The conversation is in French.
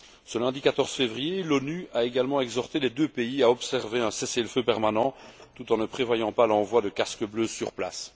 Ce lundi l4 février, l'ONU a également exhorté les deux pays à observer un cessez le feu permanent tout en ne prévoyant pas l'envoi de casques bleus sur place.